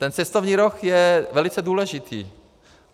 Ten cestovní ruch je velice důležitý.